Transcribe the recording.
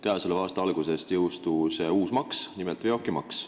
Käesoleva aasta alguses jõustus uus maks, nimelt veokimaks.